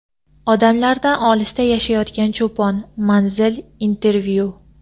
Odamlardan olisda yashayotgan cho‘pon — Manzil | Intervyu.